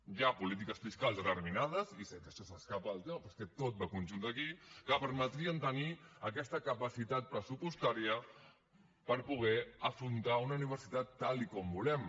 hi ha polítiques fiscals determinades i sé que això s’escapa del tema però és que tot va en conjunt aquí que permetrien tenir aquesta capacitat pressupostària per poder afrontar una universitat tal com volem